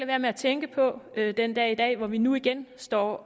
være med at tænke på den dag i dag hvor vi nu igen står